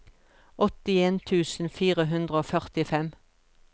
åttien tusen fire hundre og førtifem